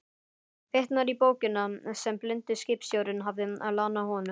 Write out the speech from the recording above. Vitnar í bókina sem blindi skipstjórinn hafði lánað honum.